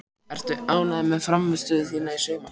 Ertu ánægður með frammistöðu þína í sumar?